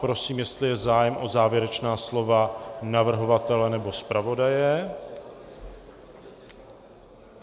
Prosím, jestli je zájem o závěrečná slova navrhovatele nebo zpravodaje.